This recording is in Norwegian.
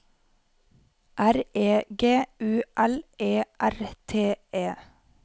R E G U L E R T E